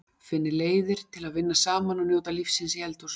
Finnið leiðir til að vinna saman og njóta lífsins í eldhúsinu.